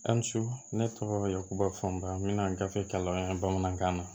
Hali su ne tɔgɔ yakubafunba bɛna gafe kalan an bamanankan na